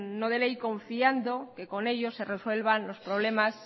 no de ley confiando que con ello se resuelvan los problemas